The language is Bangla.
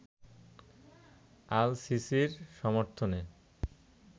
আল-সিসির সমর্থনে